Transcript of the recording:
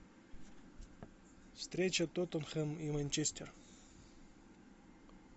встреча тоттенхэм и манчестер